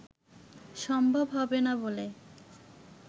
সম্ভব হবে না বলে